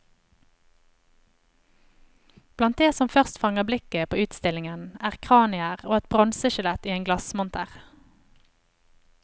Blant det som først fanger blikket på utstillingen, er kranier og et bronseskjelett i en glassmonter.